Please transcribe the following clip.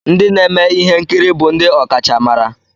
Ndị na-eme ihe nkiri bụ ndị ọkachamara?